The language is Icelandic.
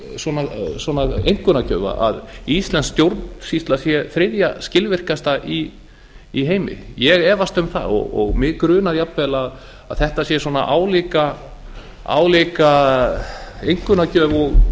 baki svona einkunnagjöf að íslensk stjórnsýsla sé þriðja skilvirkasta í heimi ég efast um það og mig grunar jafnvel að þetta sé svona álíka einkunnagjöf og